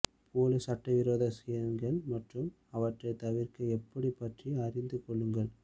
போலி சட்டவிரோத ஸ்கேம்கள் மற்றும் அவற்றைத் தவிர்க்க எப்படி பற்றி அறிந்து கொள்ளுங்கள்